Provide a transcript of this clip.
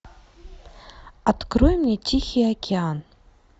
открой мне тихий океан